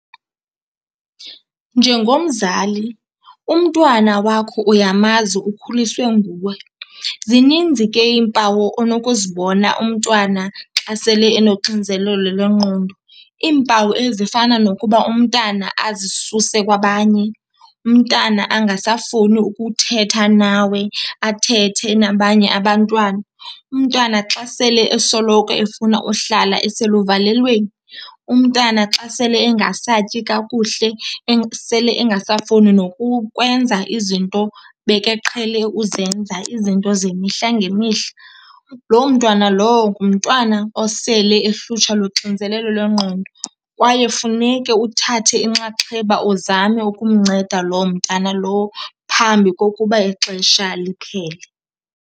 Njengomzali, umntwana wakho uyamazi, ukhuliswe nguwe. Zininzi ke iimpawu onokuzibona umntwana xa sele enoxinzelelo lwengqondo. Iimpawu ezifana nokuba umntana azisuse kwabanye, umntana angasafuni ukuthetha nawe athethe nabanye abantwana, umntwana xa sele esoloko efuna uhlala eseluvalelweni, umntana xa sele engasatyi kakuhle, sele engasafuni nokukwenza izinto bekeqhele uzenza, izinto zemihla ngemihla. Loo mntwana lowo ngumntwana osele ehlutshwa luxinzelelo lwengqondo kwaye funeke uthathe inxaxheba uzame ukumnceda loo mntana lowo phambi kokuba ixesha liphele.